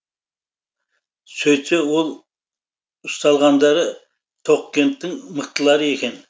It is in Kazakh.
сөйтсе ол ұсталғандары тоқкенттің мықтылары екен